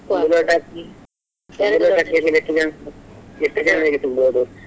ಅಕ್ಕಿ ಎಷ್ಟು ಜನ ಎಷ್ಟು ಜನರಿಗೆ ಸಿಗ್ಬೋದು?